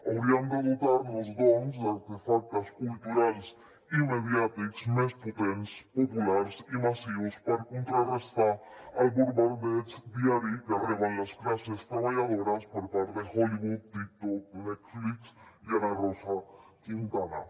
hauríem de dotar nos doncs d’artefactes culturals i mediàtics més potents populars i massius per contrarestar el bombardeig diari que reben les classes treballadores per part de hollywood tiktok netflix i ana rosa quintana